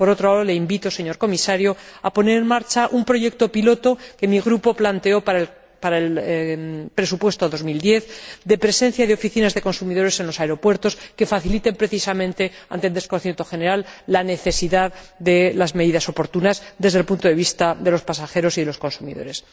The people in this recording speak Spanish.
Por otro lado, le invito, señor Comisario, a poner en marcha un proyecto piloto que mi Grupo planteó para el presupuesto 2010, de presencia de oficinas de consumidores en los aeropuertos que faciliten, precisamente ante el desconcierto general, las medidas oportunas necesarias para los pasajeros y los consumidores.